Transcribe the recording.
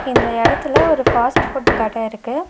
இந்த எடத்துல ஒரு ஃபாஸ்ட் ஃபுட் கட இருக்கு.